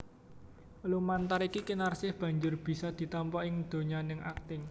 Lumantar iki Kinarsih banjur bisa ditampa ing donyaning akting